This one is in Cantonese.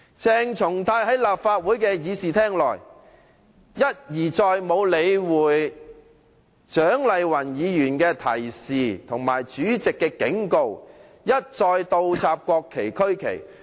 鄭松泰在立法會的議事廳內，沒有理會蔣麗芸議員的勸諭和主席的警告，一而再倒插國旗和區旗。